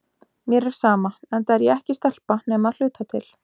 Mér er sama, enda er ég ekki stelpa nema að hluta til.